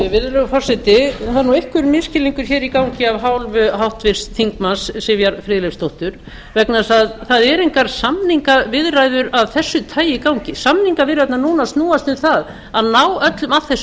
virðulegur forseti það er einhver misskilningur í gangi af hálfu háttvirts þingmanns sivjar friðleifsdóttur vegna þess að það eru engar samningaviðræður af þessu tagi í gangi samningaviðræðurnar núna snúast um það að ná öllum að þessu